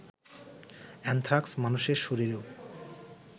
anthrax মানুষের শরীরেও